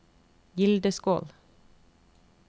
Gildeskål